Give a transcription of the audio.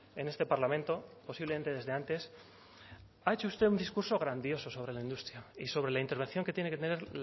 en este parlamento posiblemente desde antes ha hecho usted un discurso grandioso sobre la industria y sobre la intervención que tiene que tener